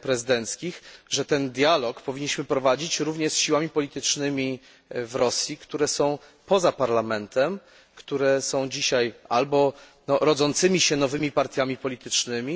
prezydenckich, że ten dialog powinniśmy prowadzić również z siłami politycznymi w Rosji, które są poza parlamentem, które są dzisiaj albo rodzącymi się nowymi partiami politycznymi,